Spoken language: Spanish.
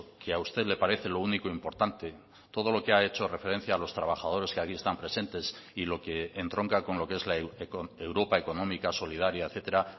que a usted le parece lo único importante todo lo que ha hecho referencia a los trabajadores que aquí están presentes y lo que entronca con lo que es la europa económica solidaria etcétera